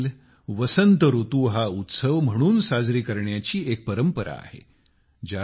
होळी देखील वसंत हा उत्सव म्हणून साजरी करण्याची एक परंपरा आहे